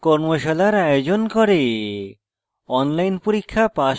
কর্মশালার আয়োজন করে